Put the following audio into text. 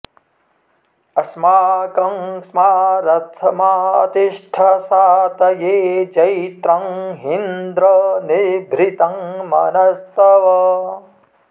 अ॒स्माकं॑ स्मा॒ रथ॒मा ति॑ष्ठ सा॒तये॒ जैत्रं॒ ही॑न्द्र॒ निभृ॑तं॒ मन॒स्तव॑